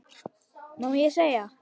Má segja?